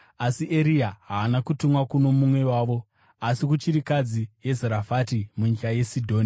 Asi Eria haana kutumwa kuno mumwe wavo, asi kuchirikadzi yeZerafati munyika yeSidhoni.